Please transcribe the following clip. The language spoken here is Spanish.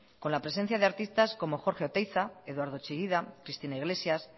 con la presencia de artistas como jorge oteiza eduardo chillida cristina iglesias